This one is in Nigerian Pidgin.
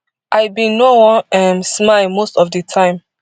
i bin no wan um smile most of di time